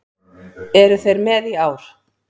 Eru þeir með í ár?